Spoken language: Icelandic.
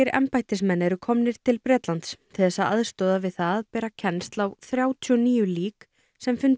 embættismenn eru komnir til Bretlands til þess að aðstoða við það að bera kennsl á þrjátíu og níu lík sem fundust